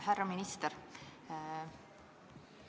Härra minister!